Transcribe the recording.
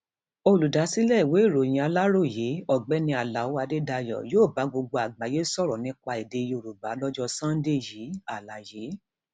olùdásílẹ ìwé ìròyìn aláròyé ọgbẹni aláo adédáyò yóò bá gbogbo àgbáyé sọrọ nípa èdè yorùbá lọjọ sànńdẹ yìí àlàyé